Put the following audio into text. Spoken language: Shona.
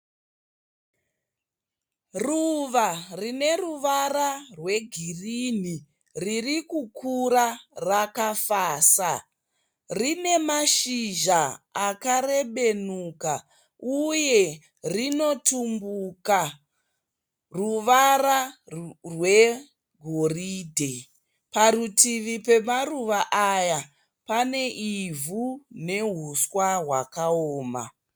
Ruva rine ruvara rwegirinhi riri kukura rakafasa. Rine mashizha akarebenuka uye runotumbuka ruvara rwegoridhe. Parutivi pemaruva aya pane ivhu nehuswa hwakaoma.